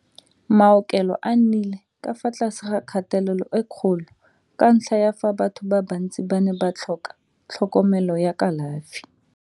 Maaokelo a nnile ka fa tlase ga kgatelelo e kgolo ka ntlha ya fa batho ba bantsi ba ne ba tlhoka tlhokomelo ya kalafi.